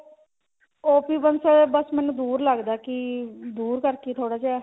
OP Bansal ਬੱਸ ਮੈਨੂੰ ਦੂਰ ਲੱਗਦਾ ਕਿ ਦੂਰ ਕਰਕੇ ਥੋੜਾ ਜਿਹਾ